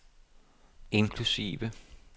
inklusive